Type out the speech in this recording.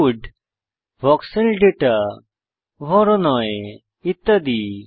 would ভক্সেল দাতা ভরণই ইত্যাদি